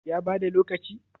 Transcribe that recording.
ya bada lokaci?